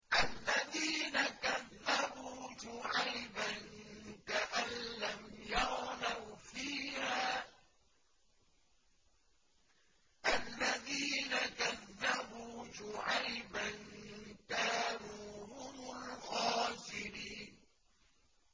الَّذِينَ كَذَّبُوا شُعَيْبًا كَأَن لَّمْ يَغْنَوْا فِيهَا ۚ الَّذِينَ كَذَّبُوا شُعَيْبًا كَانُوا هُمُ الْخَاسِرِينَ